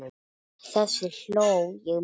Þessu hló ég mikið að.